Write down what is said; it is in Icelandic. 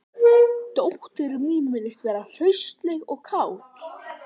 Dóttir mín virðist vera hraustleg og kát